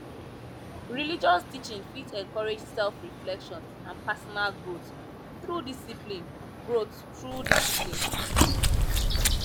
religious teaching fit encourage self reflection and personal growth through discpline growth through discpline